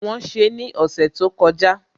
Wọ́n ṣe ní ọ̀sẹ̀ tó kọjá